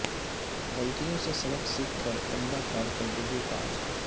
غلطیوں سے سبق سیکھ کر عمدہ کارکردگی کا عزم